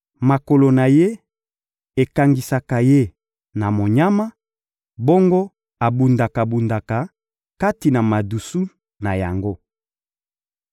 Makolo na ye ekangisaka ye na monyama, bongo abundaka-bundaka kati na madusu na yango.